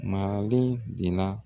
Maralen de la.